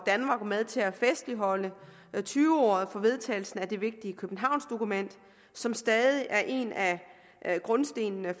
med til at festligholde tyve året for vedtagelsen af det vigtige københavnsdokument som stadig er en af grundstenene